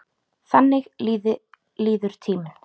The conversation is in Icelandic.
Þannig líður tíminn.